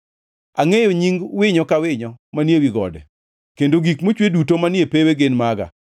Angʼeyo nying winyo ka winyo manie wi gode, kendo gik mochwe duto manie pewe gin maga.